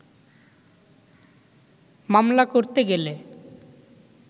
মামলা করতে গেলে